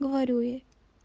говорю ей